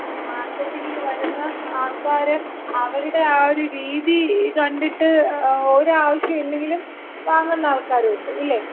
ഈ മാർക്കറ്റിങ്ങിന് വരുന്ന ആൾക്കാര് അവരുടെ ആ ഒര് രീതി കണ്ടിട്ട് ഒരു ആവശ്യല്ലെങ്കിലും വാങ്ങുന്ന ആൾക്കാരൊണ്ട്. ഇല്ലേ?